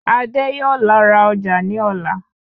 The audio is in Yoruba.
Adé yóò lọ ra ọjà ní ọ̀la